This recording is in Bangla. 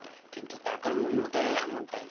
কিন্তু টাকার মূল্যটা এমনটাই